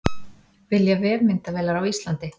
Vilja vefmyndavélar á Íslandi